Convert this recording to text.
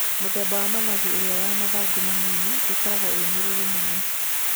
Mĩthemba ya managu ĩrĩa ya mathangũ manini ĩkoragwo ĩ mĩrũrũ mũno.